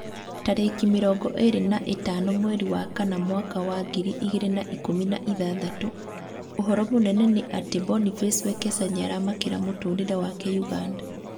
Tarĩki mĩrongo ĩrĩ na ĩtano mweri wa kana mwaka wa ngiri igĩrĩ na ikũmi na ithathatũ: ũhoro mũnene nĩ atĩ Boniface Wekesa nĩaramakĩra mũtũrĩre wake Uganda